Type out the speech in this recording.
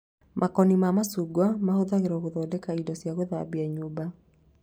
Makoni ma macungwa mahũthagĩrwo gũthondeka indo cia gũthambĩa nyũmba